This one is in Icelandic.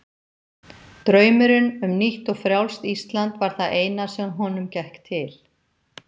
Draumurinn um nýtt og frjálst Ísland var það eina sem honum gekk til.